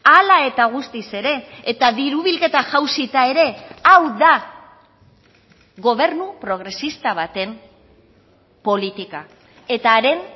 hala eta guztiz ere eta diru bilketa jausita ere hau da gobernu progresista baten politika eta haren